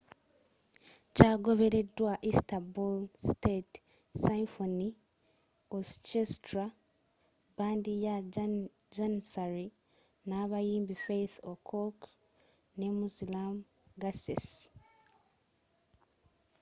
kyagobereddwa istanbul state symphony orchestra bbandi ya janissary n’abayimbi fatih erkoç ne müslüm gürses